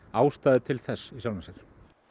ástæðu til þess í sjálfu sér